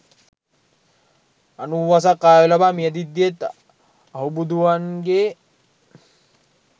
අනූවසක් ආයු ලබා මියැදෙද්දීත් අහුබුදුවන්ගේ